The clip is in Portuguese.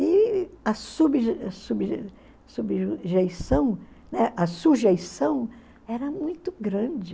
E a né? A sujeição era muito grande.